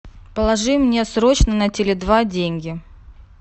положи мне срочно на теле два деньги